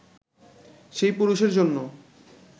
সেই পুরুষের জন্য